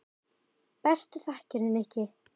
Bestu þakkir, Nikki.